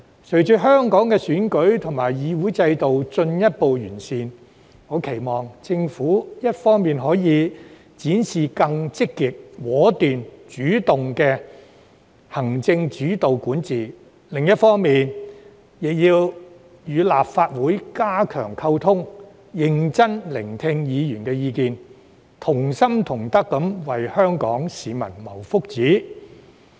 隨着香港的選舉和議會制度進一步完善，我期望政府一方面展示更積極、果斷、主動的行政主導管治，另一方面則與立法會加強溝通，認真聆聽議員的意見，同心同德為香港市民謀福祉。